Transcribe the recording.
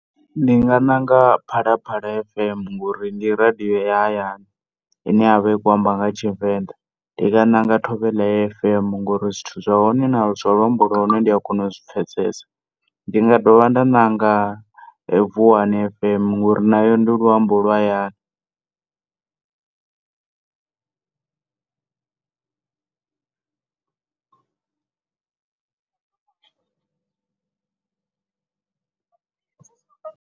Ndi nga ṋanga Phalaphala FM ngori ndi radio ya hayani ine yavha ikho amba nga tshivenḓa. Ndi nga ṋanga Thobela FM ngori zwithu zwa hone na, zwa luambo lwa hone ndia kona u zwi pfesesa. Ndi nga dovha nda ṋanga Vuwani FM ngori nayo ndi luambo lwa hayani.